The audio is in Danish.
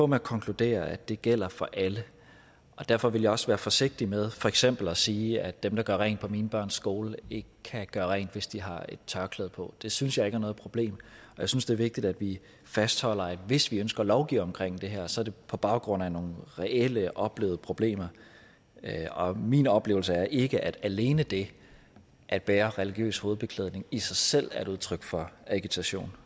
med at konkludere at det gælder for alle derfor ville jeg også være forsigtig med for eksempel at sige at dem der gør rent på mine børns skole ikke kan gøre rent hvis de har et tørklæde på det synes jeg ikke er noget problem jeg synes det er vigtigt at vi fastholder at hvis vi ønsker at lovgive omkring det her så er det på baggrund af nogle reelle oplevede problemer og min oplevelse er ikke at alene det at bære religiøs hovedbeklædning i sig selv er et udtryk for agitation